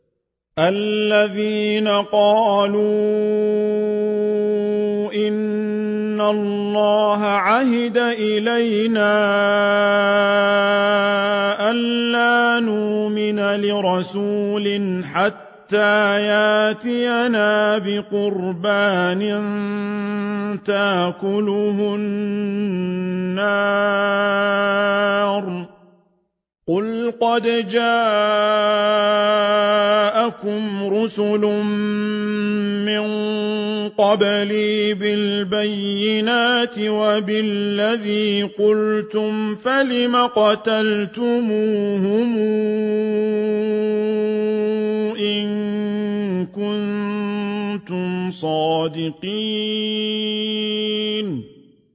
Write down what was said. الَّذِينَ قَالُوا إِنَّ اللَّهَ عَهِدَ إِلَيْنَا أَلَّا نُؤْمِنَ لِرَسُولٍ حَتَّىٰ يَأْتِيَنَا بِقُرْبَانٍ تَأْكُلُهُ النَّارُ ۗ قُلْ قَدْ جَاءَكُمْ رُسُلٌ مِّن قَبْلِي بِالْبَيِّنَاتِ وَبِالَّذِي قُلْتُمْ فَلِمَ قَتَلْتُمُوهُمْ إِن كُنتُمْ صَادِقِينَ